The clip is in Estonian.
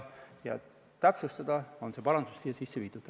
Ja täpsustamiseks ongi see parandus siia sisse viidud.